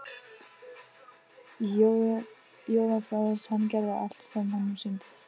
Jói var frjáls, hann gerði allt sem honum sýndist.